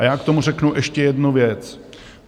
A já k tomu řeknu ještě jednu věc.